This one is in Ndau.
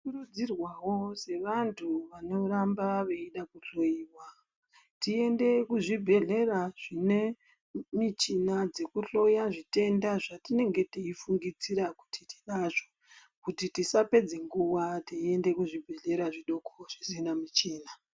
Tinokurudzirwawo sevantu vanoda kuramba veindohloyiwa tiende kuzvibhedhleya zvine michina dzekuhloya zvitenda zvatinenge teifungidzira kuti tinazvo kuti tisapedze mguwa teiende kuzvibhedhleya zvidoko zvisina michina.